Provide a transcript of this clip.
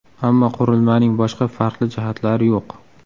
Ammo qurilmaning boshqa farqli jihatlari yo‘q.